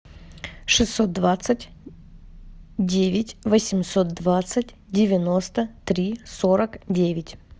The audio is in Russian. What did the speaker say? шестьсот двадцать девять восемьсот двадцать девяносто три сорок девять